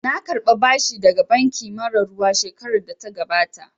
Na karɓa bashi daga banki mara ruwa shekarar da ta gabata